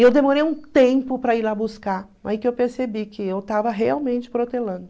E eu demorei um tempo para ir lá buscar, aí que eu percebi que eu estava realmente protelando.